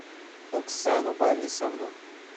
оксану борисовну